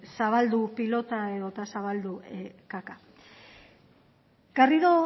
zabaldu pilota edota zabaldu kaka garrido